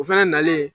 O fɛnɛ nalen